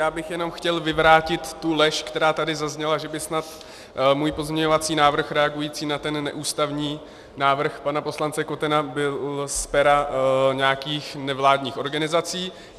Já bych jenom chtěl vyvrátit tu lež, která tady zazněla, že by snad můj pozměňovací návrh reagující na ten neústavní návrh pana poslance Kotena byl z pera nějakých nevládních organizací.